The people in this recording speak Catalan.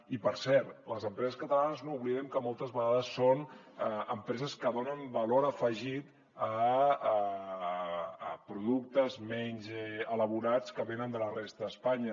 i per cert les empreses catalanes no oblidem que moltes vegades són empreses que donen valor afegit a productes menys elaborats que venen de la resta d’espanya